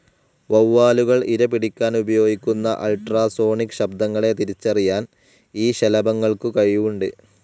വൗവ്വാലുകൾ ഇരപിടിക്കാൻ ഉപയോഗിക്കുന്ന അൾട്രാസോണിക്‌ ശബ്ദങ്ങളെ തിരിച്ചറിയാൻ ഈ ശലഭങ്ങൾക്കു കഴിവുണ്ട്.